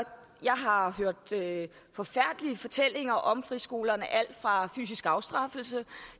jeg har hørt forfærdelige fortællinger om friskolerne om alt fra fysisk afstraffelse